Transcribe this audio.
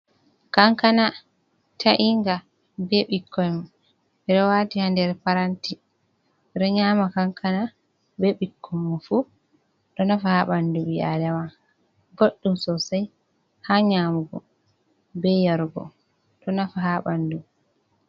Kankana tainga, ɓe ɓikkon. Ɓe ɗo wati ha nɗer paranti. Ɓe ɗo nyama kankana ɓe ɓikkonmon fu. Ɗo nafa ha ɓanɗu ɓi aɗama. Ɓoɗɗum sosei ha nyamugo, ɓe yarugo. Ɗo nafa ha ɓanɗu.